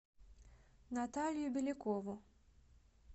наталью белякову